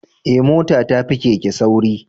Eh mota ta fi keke sauri